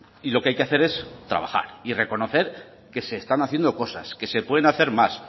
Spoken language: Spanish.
y lo que hay que hacer es trabajar y reconocer que se están haciendo cosas que se pueden hacer más